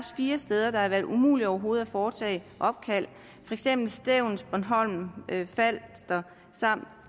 fire steder hvor det har været umuligt overhovedet at foretage opkald nemlig stevns bornholm falster samt